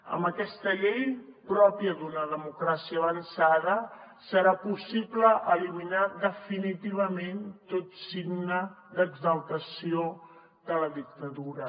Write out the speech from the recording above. amb aquesta llei pròpia d’una democràcia avançada serà possible eliminar definitivament tot signe d’exaltació de la dictadura